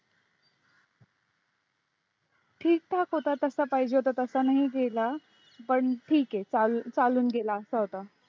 ठीक ठाक होता तसा पाहिजे तसा नाही गेला पण ठीक आहे चाल चालून गेला असा होता,